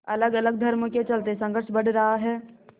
अलगअलग धर्मों के चलते संघर्ष बढ़ रहा है